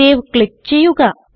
save click ചെയ്യുക